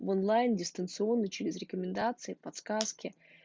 в онлайн дистанционный через рекомендации подсказки